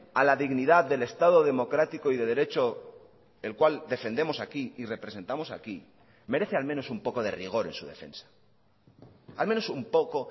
a la dignidad del estado democrático y de derecho el cual defendemos aquí y representamos aquí merece al menos un poco de rigor en su defensa al menos un poco